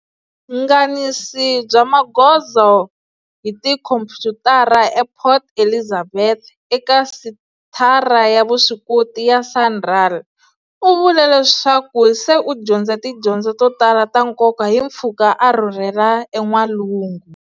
Nganisi bya magozo hi tikhomputara ePort Elizabeth eka Senthara ya Vuswikoti ya SANRAL, u vule leswaku se u dyondze tidyondzo to tala ta nkoka hi mpfhuka a rhurhela en'walungu.